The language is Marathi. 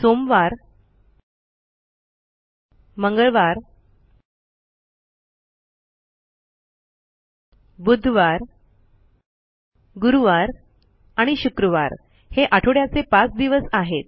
मोंडे ट्यूसडे वेडनेसडे थर्सडे आणि फ्रिडे हे आठवड्याचे पाच दिवस आहेत